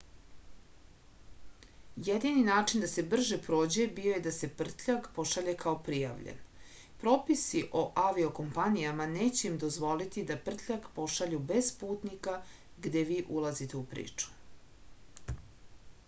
jedini način da se brže prođe bio je da se prtljag pošalje kao prijavljen propisi o avio-kompanijama neće im dozvoliti da prtljag pošalju bez putnika gde vi ulazite u priču